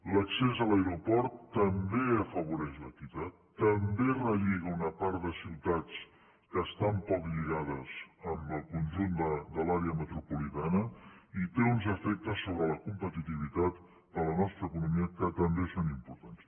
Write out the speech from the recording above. l’accés a l’aeroport també afavoreix l’equitat també relliga una part de ciutats que estan poc lligades amb el conjunt de l’àrea metropolitana i té uns efectes sobre la competitivitat de la nostra economia que també són importants